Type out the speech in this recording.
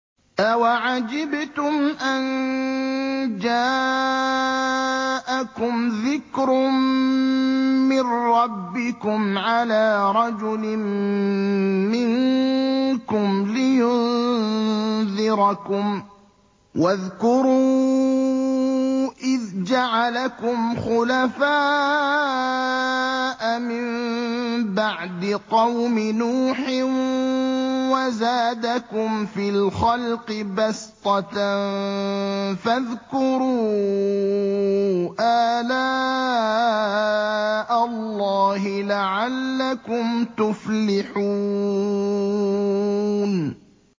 أَوَعَجِبْتُمْ أَن جَاءَكُمْ ذِكْرٌ مِّن رَّبِّكُمْ عَلَىٰ رَجُلٍ مِّنكُمْ لِيُنذِرَكُمْ ۚ وَاذْكُرُوا إِذْ جَعَلَكُمْ خُلَفَاءَ مِن بَعْدِ قَوْمِ نُوحٍ وَزَادَكُمْ فِي الْخَلْقِ بَسْطَةً ۖ فَاذْكُرُوا آلَاءَ اللَّهِ لَعَلَّكُمْ تُفْلِحُونَ